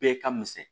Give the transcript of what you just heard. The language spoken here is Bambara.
Bɛɛ ka misɛn